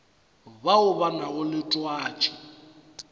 bao ba nago le twatši